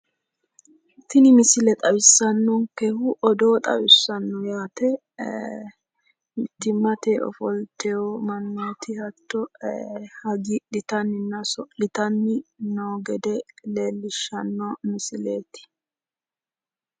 Tini misile xawissannonkehu odoo xawissanno yaate. Mittimmate ifoltewo mannooti ee hattono hagiidhitanni oso'litanni noo gede leellishshanno misileeti.